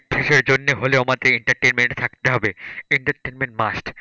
কিছুর জন্য হলেও আমাদে entertainment এ থাকতে হবে entertainment must ।